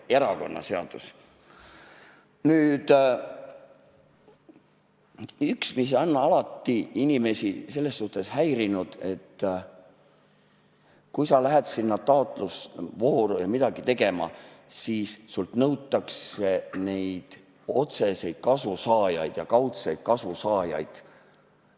Üks, mis on alati inimesi selles suhtes häirinud, et kui sa lähed sinna taotlusvooru ja hakkad midagi tegema, siis sinult nõutakse otseseid kasusaajaid ja kaudseid kasusaajaid.